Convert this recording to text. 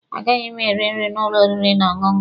A gaghị m eri nri n'ụlọ oriri na ọṅụṅụ a.